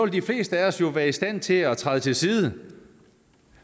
de fleste af os jo være i stand til at træde til side